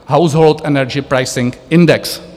Household Energy Pricing index.